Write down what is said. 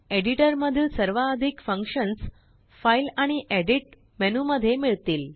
एडिटरमधील सर्वाधिक फंकशन्सFileआणिEditमेनू मध्ये मिळतील